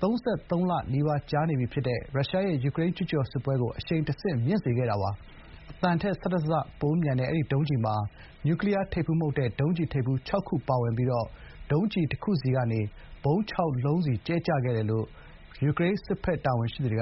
၃၃ လနီးပါးကြာ နေပြီး ဖြစ်တဲ့ ရုရှားရဲ့ ယူကရိန်း ကျူးကျော် စစ်ပွဲ ကို အရှိန်တဆင့် မြင့်စေခဲ့တာပါ။ အသံထက် ၁၁ ဆ ပိုမြန်တဲ့ အဲဒီ ဒုံးကျည်မှာ နျူကလီးယား ထိပ်ဖူး မဟုတ်တဲ့ ဒုံးကျည်ထိပ်ဖူး ခြောက်ခု ပါဝင်ပြီး ဒုံးကျည် တခုစီကနေ ဗုံး ၆ ခုစီ ကြဲချခဲ့တယ်လို့ ယူကရိန်း စစ်ဘက် တာဝန်ရှိသူတွေက